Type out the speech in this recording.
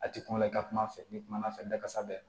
A ti kuma la i ka kuma fɛ n'i kumana fɛ dakasa bɛɛ